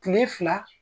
Kile fila